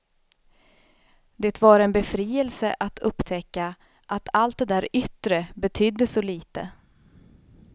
Det var en befrielse att upptäcka att allt det där yttre betydde så lite.